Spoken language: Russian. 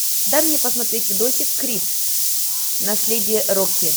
дай мне посмотреть видосик крид наследие рокки